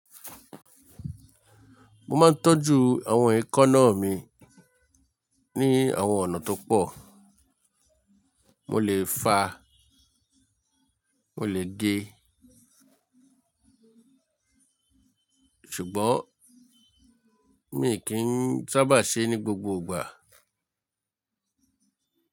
Mo máa ń tọ́jú àwọn èékánná mi ní àwọn ọ̀nà tó pọ̀. Mo lè fàá, mo lè gé, ṣùgbọ́n mi kì sábà ṣe é ní gbogbo ìgbà.